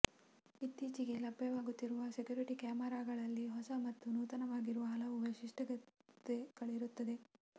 ಇತ್ತೀಚೆಗೆ ಲಭ್ಯವಾಗುತ್ತಿರುವ ಸೆಕ್ಯುರಿಟಿ ಕ್ಯಾಮರಾಗಳಲ್ಲಿ ಹೊಸ ಮತ್ತು ನೂತನವಾಗಿರುವ ಹಲವು ವೈಶಿಷ್ಟ್ಯತೆಗಳಿರುತ್ತದೆ